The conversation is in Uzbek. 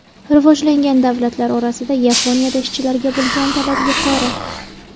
Rivojlangan davlatlar orasida Yaponiyada ishchilarga bo‘lgan talab yuqori.